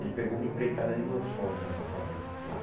Ele pegou uma empreitada de mansões né para fazer lá.